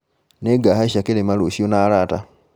Nĩngahaica kĩrĩma rũciũ na arata